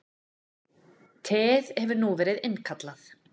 Teið hefur nú verið innkallað